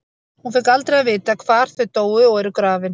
Hún fékk aldrei að vita hvar þau dóu og eru grafin.